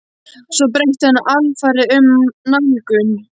Svo breytti hann alfarið um nálgun.